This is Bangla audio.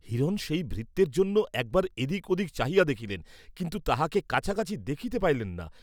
হিরণ সেই ভৃত্যের জন্য একবার এদিকে ওদিকে চাহিয়া দেখিলেন, কিন্তু তাহাকে কাছাকাছি দেখিতে পাইলেন না।